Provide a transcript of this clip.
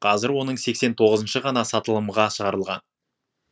қазір оның сексен тоғызыншы ғана сатылымға шығарылған